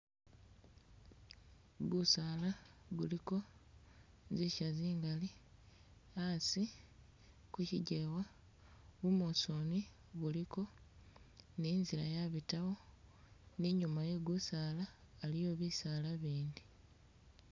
Gusaala guliko zisya zingali, asi ku kigewa bumusooni buliko ni inzila ya bitawo ni inyuma ye gusaala aliwo bisaala bindi.